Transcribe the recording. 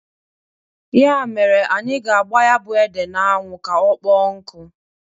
Ya mere anyị ga-agba ya bụ ede n'anwụ ka ọkpọọ nkụ.